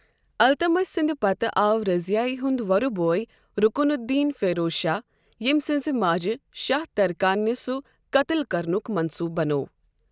التمِش سٕنٛد پتہٕ آو رضیایہِ ہنٛد وۄرٕ بوے رُکُن الدین فیروز شاہ ییٚمہ سنٛزِ ماجہِ شاہ تٗرکاننہِ سۄ قتل كرنُک مَنٛصوٗبہٕ بنوو۔